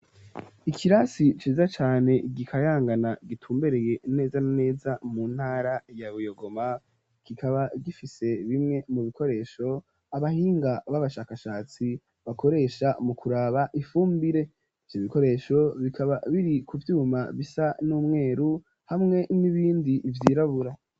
Ikirasi ciza cane gikayangana gitumbereye neza neza mu ntara ya buyogoma gikaba gifise bimwe mu bikoresho abahinga b'abashakashatsi bakoresha mu kuraba ifumbire vy' ibikoresho bikaba biri ku vyuma bisa n'umweru hamwe m'ibindi ivyirabura.